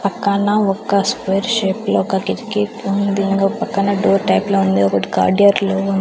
పక్కన ఒక్క square shape లో ఒక కిటికీ ఉంది. ఇంగో పక్కన డోర్ టైప్ లో ఉంది ఒకటి కార్డియర్లో ఉన్ --